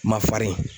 Ma farin